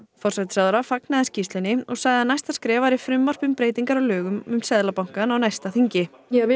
forsætisráðherra fagnaði skýrslunni og sagði að næsta skref væri frumvarp um breytingar á lögum um Seðlabankann á næsta þingi við